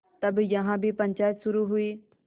तब यहाँ भी पंचायत शुरू हुई